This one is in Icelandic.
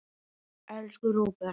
Elsku Róbert.